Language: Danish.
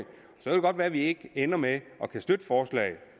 godt være at vi ender med ikke at kunne støtte forslaget